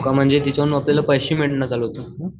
हो का म्हणजे त्याच्यावरून आपल्याला पैसे मिलन चालू होत.